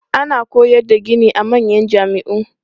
Ana koyar da gini a manyan jami'u.